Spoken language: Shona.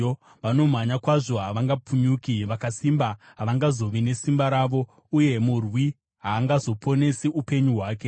Vanomhanya kwazvo havangapunyuki, vakasimba havangazovi nesimba ravo, uye murwi haangazoponesi upenyu hwake.